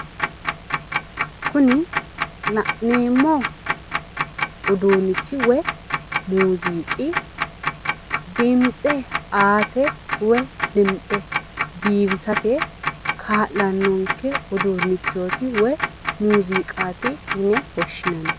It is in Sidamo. Kuni la'neemmo uduunnichchi woyi muziiqi dimtse aate woyi dimtse biifisate kaa'lannonke uduunnichchooti woyi muziiqaati yine woshshinanni